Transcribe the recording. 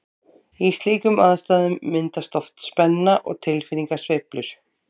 Í slíkum aðstæðum myndast oft spenna og tilfinningasveiflur.